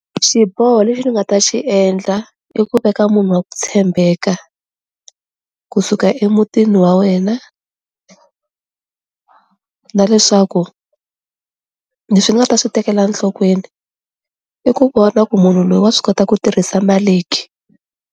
Xiboho lexi ni nga ta xi endla i ku veka munhu wa ku tshembeka kusuka emutini wa wena na leswaku leswi nga ta swi tekela nhlokweni i ku vona ku munhu loyi wa swi kota ku tirhisa mali ke.